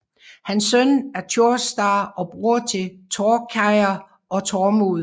Han er søn af Tjórstar og bror til Torkeir og Tormod